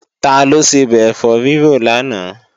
Taló sebẹ̀ ẹ̀fọ́ rírò lánàá?